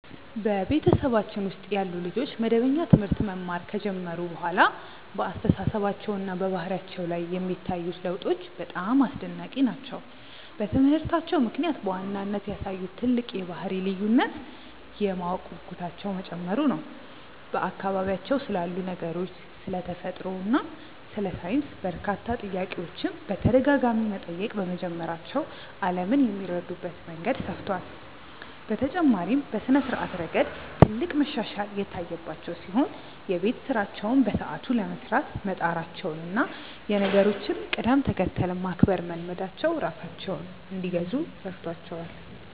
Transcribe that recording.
በቤተሰባችን ውስጥ ያሉ ልጆች መደበኛ ትምህርት መማር ከጀመሩ በኋላ በአስተሳሰባቸውና በባህሪያቸው ላይ የሚታዩት ለውጦች በጣም አስደናቂ ናቸው። በትምህርታቸው ምክንያት በዋናነት ያሳዩት ትልቅ የባህሪ ልዩነት የማወቅ ጉጉታቸው መጨመሩ ነው፤ በአካባቢያቸው ስላሉ ነገሮች፣ ስለ ተፈጥሮ እና ስለ ሳይንስ በርካታ ጥያቄዎችን በተደጋጋሚ መጠየቅ በመጀመራቸው ዓለምን የሚረዱበት መንገድ ሰፍቷል። በተጨማሪም በስነ-ስርዓት ረገድ ትልቅ መሻሻል የታየባቸው ሲሆን፣ የቤት ስራቸውን በሰዓቱ ለመስራት መጣራቸውና የነገሮችን ቅደም-ተከተል ማክበር መልመዳቸው ራሳቸውን እንዲገዙ ረድቷቸዋል።